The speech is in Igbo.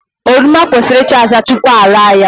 Oroma kwesịrị ịcha acha tupu ara ya.